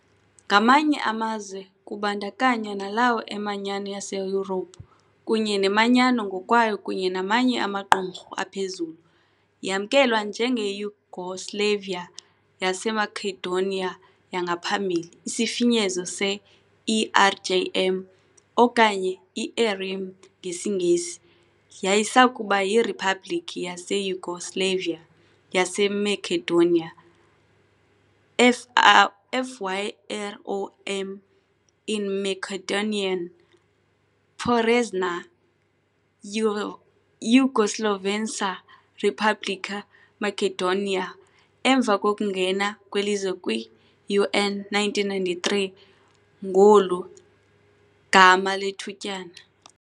Ngamanye amazwe, kubandakanywa nalawo eManyano yaseYurophu, kunye neManyano ngokwayo kunye namanye amaqumrhu aphezulu, yamkelwa njengeYugoslavia yaseMakedoniya yangaphambili, isifinyezo se-ERJM okanye i-ERIM, ngesiNgesi, yayisakuba yiRiphabhliki yaseYugoslavia. yaseMakedoniya, FYROM in Macedonian, Poranešna Jugoslovenska Republika Makedonija, emva kokungena kweLizwe kwi-UN, 1993, ngolu, gama lethutyana.